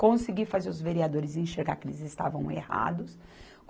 Consegui fazer os vereadores enxergar que eles estavam errados.